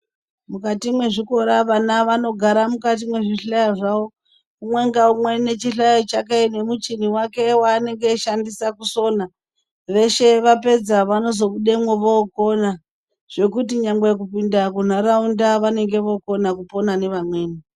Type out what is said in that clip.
Mukati mwezvikora vana vanogara mukati mwezvihlayo zvavo. Umwe ngaumwe nechihlayo chake nemuchini wake weanenge achishandisa kuchisona. Veshe vapedza vanozobudemwo vokona, zvekuti nyangwe kupinda kunharaunda vanenge vokona kupona nevamweni.